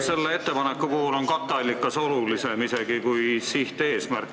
Selle ettepaneku puhul on katteallikas isegi olulisem kui sihteesmärk.